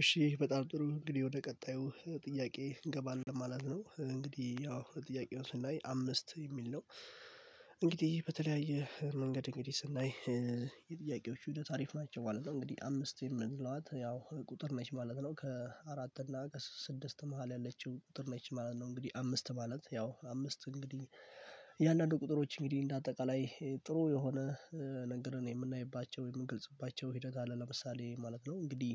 እሺ በጣም ጥሩ እንግዲህ ወደ ቀጣዩ ጥያቄ እንገባለን ማለት ነው እንግዲህ ያው ጥያቄው ስናይ አምስት የሚል ነው። እንግዲህ በተለያየ መንገድ እንግዲህ ስናይ የጥያቄዎቹ ሂደት አሪፍ ናቸው ማለት ነው። እንግዲህ አምስት የምንለው ያው ቁጥር ነች ማለት ነው ከአራት እና ከስድስት መሃል ያለችው ቁጥር ነች ማለት ነው። እንግዲህ አምስት ማለት ያው አምስት እንግዲህ የእያንዳንዱ ቁጥሮች እንግዲህ እንደ አጠቃላይ ጥሩ የሆነ ነጥለን የምናይባቸው የምንገልጽባቸው ሂደት አለ። ለምሳሌ ማለት ነው እንግዲህ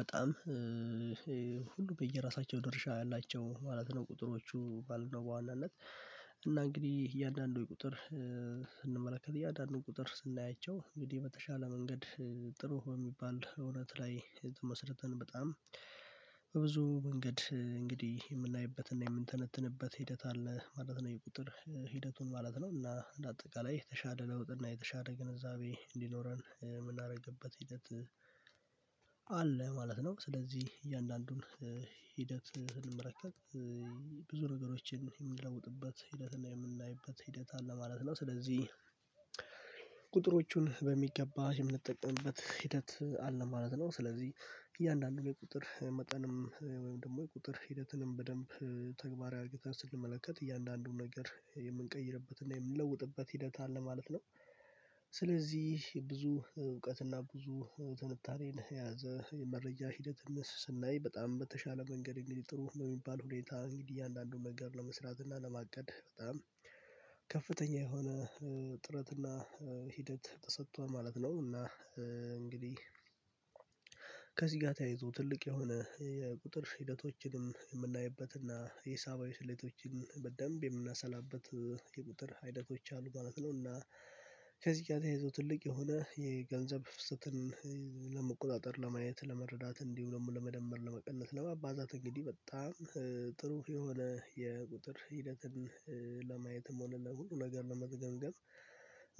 በጣም ሁሉ በየራሳቸው ድርሻ ያላቸው ማለት ነው። ቁጥሮቹ ባልነው በዋናነት እና እንግዲህ እያንዳንዱ ቁጥር ስንመለከት እያንዳንዱን ቁጥር ስናያቸው እንግዲህ በተሻለ መንገድ ጥሩ በሚባል እውነት ላይ የተመሰረተን በጣም በብዙ መንገድ እንግዲህ የምናይበትና የምንተነትንበት ሂደት አለ ማለት ነው። የቁጥር ሂደቱን ማለት ነው እና እንደ አጠቃላይ የተሻለ ለውጥ እና የተሻለ ግንዛቤ እንዲኖረን የምናደርግበት ሂደት አለ ማለት ነው። ስለዚህ እያንዳንዱን ሂደት ስንመለከት ብዙ ነገሮችን የምንለውጥበት ሂደትና የምናይበት ሂደት አለ ማለት ነው። ስለዚህ ቁጥሮቹን በሚገባ የምንጠቀምበት ሂደት አለ ማለት ነው። ስለዚህ እያንዳንዱ የቁጥር መጠንም ወይም ደግሞ የቁጥር ሂደትንም በደንብ ተግባራዊ አድርገን ስንመለከት እያንዳንዱን ነገር የምንቀይርበት እና የምንለውጥበት ሂደት አለ ማለት ነው። ስለዚህ ብዙ እውቀትና ብዙ ትንታኔን የያዘ የመረጃ ሂደት ስናይ በጣም በተሻለ መንገድ እንግዲህ ጥሩ በሚባል ሁኔታ እንግዲህ እያንዳንዱን መንገድ ለመስራት እና ለማቀድ በጣም ከፍተኛ የሆነ ጥረት እና ሂደት ተሰጥቶ ማለት ነው። እና እንግዲህ ከዚህ ጋር ተያይዞ ትልቅ የሆነ የቁጥር ሂደቶችንም የምናይበትና ሂሳባዊ ስሌቶችንም በደንብ የምናሰላበት የቁጥር ሂደቶች አሉ ማለት ነውና። እና ከዚህ ጋር ተያይዞ ትልቅ የሆነ የገንዘብ ፍሰትን ለመቆጣጠር ለማየት ለመረዳት እንዲሁ ደግሞ ለመደመር ለመቀለስ ለማባዛት እንግዲህ በጣም ጥሩ የሆነ የቁጥር ሂደትን ለማየትም ሆነ ለሁሉ ነገር ለመዝገምገም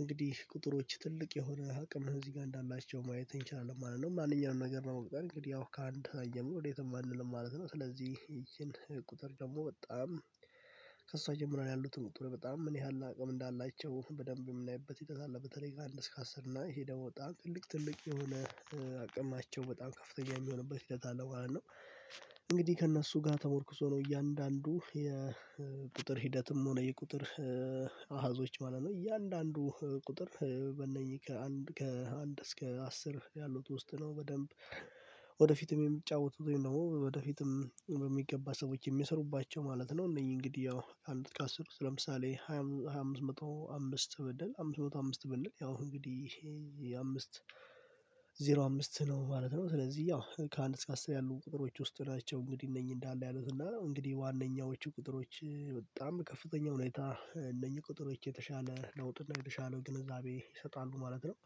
እንግዲህ ቁጥሮች ትልቅ የሆነ አቅም ነው። እዚህ ጋር እንዳላቸው ማየት እንችላለን ማለት ነው። ማንኛውንም ነገር ነው የምንጠራው እንግዲህ ያው ከአንድ አየህ ወዴትም አለልም ማለት ነው። ስለዚ ይቺን ቁጥር ደግሞ በጣም ከእሷ ጀምሮ ያሉትን ቁጥር በጣም ምን ያህል አቅም እንዳላቸው በደንብ የምናይበት ሂደት አለ። በተለይ ካለ እስከ አስር እና ይሄ ደግሞ ታንቅልቅ ትልቅ የሆነ አቅማቸው በጣም ከፍተኛ የሚሆንበት ሂደት አለ ማለት ነው። እንግዲህ ከእነሱ ጋር ተሞርክሶ ነው እያንዳንዱ የቁጥር ሂደትም ሆነ የቁጥር አሀዞች ማለት ነው እያንዳንዱ ቁጥር በእነኚህ ከአንድ ከአንድ እስከ አስር ያሉት ውስጥ ነው። በደንብ ወደፊትም የሚጫወቱት ወይም ደግሞ ወደፊትም በሚገባ ሰዎች የሚሰሩባቸው ማለት ነው። እነዚህ እንግዲህ ያው አንድ ከስር ለምሳሌ ሃያ ሃያ አምስት መቶ አምስት ብል አምስት መቶ አምስት ብንል ያው እንግዲህ ይሄ አምስት ዜሮ አምስት ነው ማለት ነው። ስለዚህ ያው ከአንድ እስከ አስር ያሉ ቁጥሮች ውስጥ ናቸው እንግዲህ እነኚህ እንዳለ ያሉት እና እንግዲህ ዋናዎቹ ቁጥሮች በጣም ከፍተኛ ሁኔታ እነኚህ ቁጥሮች የተሻለ ለውጥ እና የተሻለው ግንዛቤ ይሰጣሉ ማለት ነው።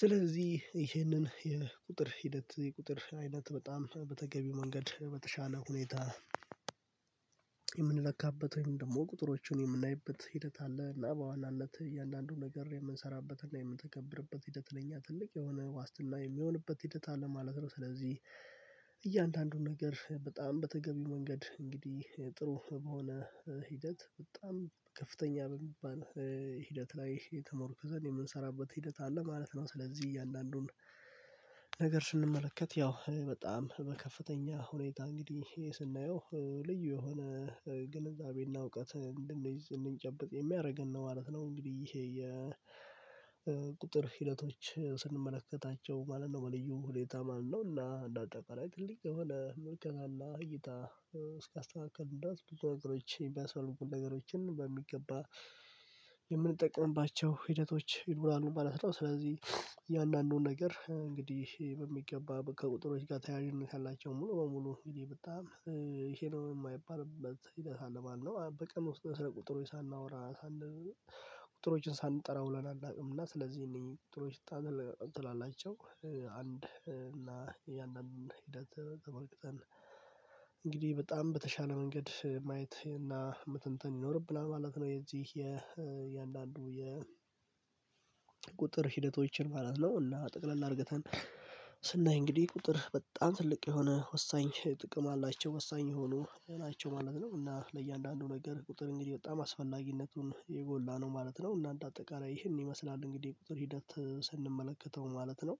ስለዚህ ይህንን የቁጥር ሂደት የቁጥር አይነት በጣም በተገቢው መንገድ በተሻለ ሁኔታ የምንለካበት ወይም ደግሞ ቁጥሮቹን የምናይበት ሂደት አለ እና በኋላም ለአንዳንዱ ነገር የምንሰራበትና የምንተገብርበት ሂደት ለእኛ ትልቅ የሆነ ዋስትና የሚሆንበት ሂደት አለ ማለት ነው። ስለዚህ እያንዳንዱን ነገር በጣም በተገቢ መንገድ እንግዲህ ጥሩ በሆነ ሂደት በጣም ከፍተኛ በሚባል ሂደት ላይ ተሞርኩዘን የምንሰራበት ሂደት አለ ማለት ነው። ስለዚህ እያለ አንዱን ነገር ስንመለከት ያው በጣም በከፍተኛ ሁኔታ እንግዲህ ይሄ ስናየው ልዩ የሆነ ግንዛቤና እውቀት እንድንይዝ እንድንጨብጥ የሚያደርገን ነው ማለት ነው። እንግዲህ ይሄ የቁጥር ሂደቶች ስንመለከታቸው ማለት ነው በለዩ ሁሌታ ማለት ነው እና እንደ አጠቃላይ ትልቅ የሆነ መልከታ አለ። እይታ እስካስተካከልን ድረስ ብዙ ነገሮችን የሚያስፈልጉ ነገሮችን በሚገባ የምንጠቀምባቸው ሂደቶች ይኖራሉ ማለት ነው። ስለዚህ የእያንዳንዱን ነገር እንግዲህ በሚገባ ከቁጥሮች ጋር ተያያዥነት ላይ ያላቸው ሙሉ በሙሉ እንግዲህ በጣም ይሄ ነው የማይባል በቃ ሳለ ማለት ነው። በቀን ውስጥ ስለ ቁጥሩ ሳናወራ ቁጥሮችን ሳንጠራ ውለን አናውቀውም። እና ስለዚህ እእነኚህ ቁጥሮች ታግል እንትን አላቸው አንድ እና ያንን ሂደት ተመልክተን እንግዲህ በጣም በተሻለ መንገድ ማየት እና መተንተን ይኖርብናል ማለት ነው። የዚህ የእያንዳንዱ የ ቁጥር ሂደቶችን ማለት ነው እና ጠቅለል አርግተ ስናይ እንግዲህ ቁጥር በጣም ትልቅ የሆነ ወሳኝ ጥቅም አላቸው ወሳኝ የሆኑ ናቸው ማለት ነው። እና ለእያንዳንዱ ነገር ቁጥር እንግዲህ በጣም አስፈላጊነቱን የጎላ ነው ማለት ነው። እና አንድ አጠቃላይ ይህንን ይመስላል እንግዲህ ቁጥር ሂደት ስንመለከተው ማለት ነው።